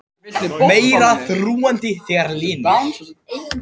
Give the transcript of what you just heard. Meira þrúgandi þegar lygnir